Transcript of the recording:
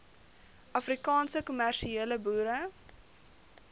afrikaanse kommersiële boere